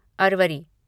Arvari